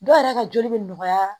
Dɔw yɛrɛ ka joli bɛ nɔgɔya